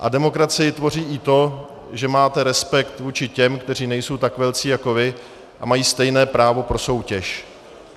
A demokracii tvoří i to, že máte respekt vůči těm, kteří nejsou tak velcí jako vy a mají stejné právo pro soutěž.